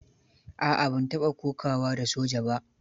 A'a, ban taɓa kokawa da soja ba.